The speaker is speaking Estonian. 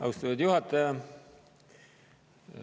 Austatud juhataja!